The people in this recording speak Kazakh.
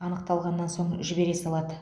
анықталғаннан соң жібере салады